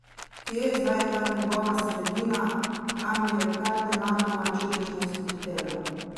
Kje je zdaj ta njegova sredina, kam je kar nenadoma čudežno izpuhtela?